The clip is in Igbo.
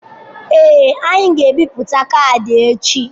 Ee, anyị ga-ebipụta kaadị echi.